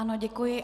Ano, děkuji.